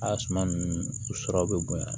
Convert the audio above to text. A suma nunnu sɔrɔ bɛ bonya